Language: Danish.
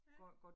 Ja